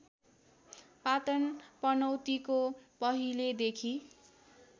पाटन पनौतीको पहिलेदेखि